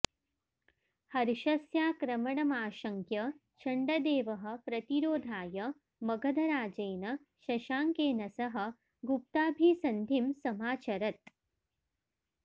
हर्षस्याक्रमणमाशंक्य चण्डदेवः प्रतिरोधाय मगधराजेन शशांकेन सह गुप्ताभिसन्धिं समाचरत्